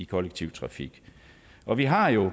kollektive trafik og vi har jo